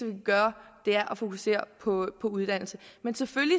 kan gøre at fokusere på uddannelse man selvfølgelig